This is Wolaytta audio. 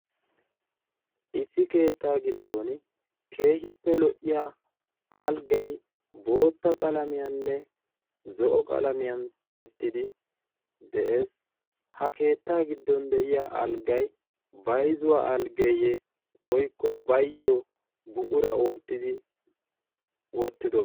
issi keettaa giddon keehippe lo77iya alggai bootta qalamiyaaninne zo7o qalamiyan tiyettidi de7ees. ha keettaa giddon de7iya alggai baizuwaa alggeeyye woikko baayyo buqura oottidi wottido?